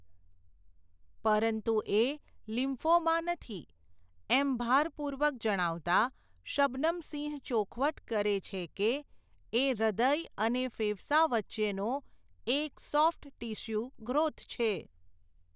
પરંતુ એ લિમ્ફોમા નથી, એમ ભારપૂર્વક જણાવતા શબનમ સિંહ ચોખવટ કરે છે કે, એ હૃદય અને ફેફસા વચ્ચેનો એક સોફ્ટ ટિસ્યુ ગ્રોથ છે.